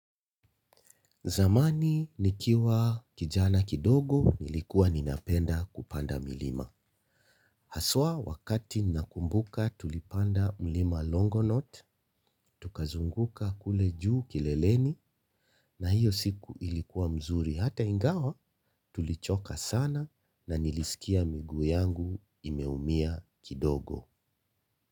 Zamani nikiwa kijana kidogo nilikuwa ninapenda kupanda milima. Haswa wakati nakumbuka tulipanda mlima longonot, tukazunguka kule juu kileleni na hiyo siku ilikuwa mzuri hata ingawa tulichoka sana na nilisikia miguu yangu imeumia kidogo.